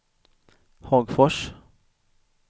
Hagfors